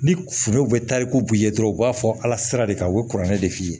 Ni foro bɛ taa i b'u ye dɔrɔn u b'a fɔ ala sira de kan u bɛ kɔrɔlen de f'i ye